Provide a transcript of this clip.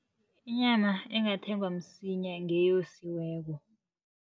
Inyama engathengwa msinya ngeyosiweko.